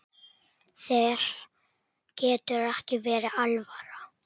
Þér getur ekki verið alvara.